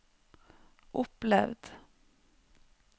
opplevd